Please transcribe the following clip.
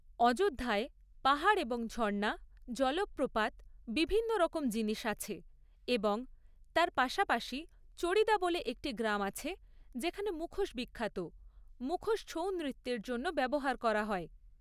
অযোধ্যায় পাহাড় এবং ঝর্ণা, জলপ্রপাত বিভিন্নরকম জিনিস আছে এবং তার পাশাপাশি 'চড়িদা' বলে একটি গ্রাম আছে, যেখানে মুখোশ বিখ্যাত। মুখোশ ছৌ নৃত্যর জন্য ব্যবহার করা হয়।